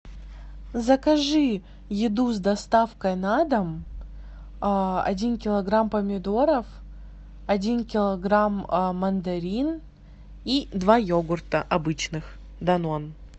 закажи еду с доставкой на дом один килограмм помидоров один килограмм мандарин и два йогурта обычных данон